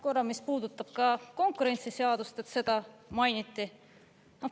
Korra, mis puudutab ka konkurentsiseadust, seda mainiti.